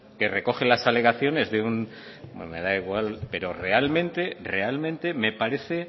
que recoge las alegaciones de un bueno me da igual pero realmente me parece